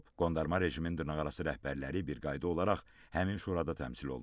Qondarma rejimin dırnaqarası rəhbərləri bir qayda olaraq həmin şurada təmsil olunub.